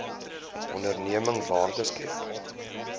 onderneming waarde skep